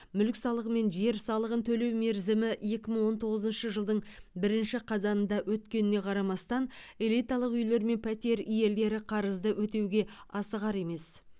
мүлік салығы мен жер салығын төлеу мерзімі екі мың он тоғызыншы жылдың бірінші қазанында өткеніне қарамастан элиталық үйлер мен пәтер иелері қарызды өтеуге асығар емес